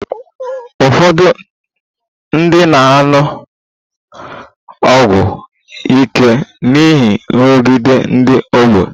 Ụfọdụ ndị na-aṅụ ọgwụ ike n'ihi nrụgide ndị ọgbọ